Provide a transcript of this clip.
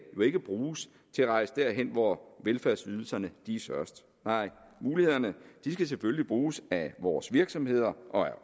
ikke bruges til at rejse derhen hvor velfærdsydelserne er størst nej mulighederne skal selvfølgelig bruges af vores virksomheder og af